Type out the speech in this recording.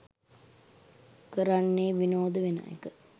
කරන්නේ විනෝද වෙන එක.